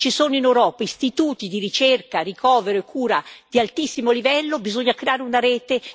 Ci sono in Europa istituti di ricerca, ricovero e cura di altissimo livello e bisogna creare una rete.